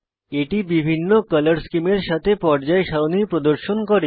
এটি বিভিন্ন কলর স্কীমের সাথে পর্যায় সারণী প্রদর্শন করে